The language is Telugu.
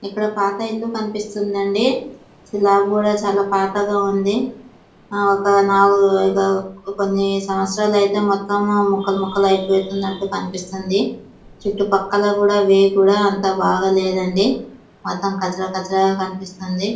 ఇక్కడ పాత ఇల్లు కనిపిస్తుందండి స్లాబ్ కూడా చాలా పాతగా ఉంది ఆ ఒక నాలుగు ఐదు కొన్ని సంవత్సరాలు అయితే మొత్తము ముక్కలు అయిపోతుంది అన్నట్టు కనిపిస్తుంది చుట్టుపక్కల కూడా వే కూడా అంత బాగాలేదండి మొత్తం కచలకచలగా కనిపిస్తుంది.